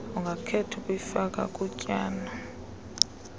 ungakhetha ukuyifaka kutyalo